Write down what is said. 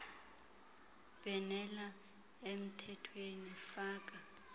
bhenela emthethweni faka